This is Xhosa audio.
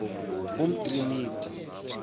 umtriniti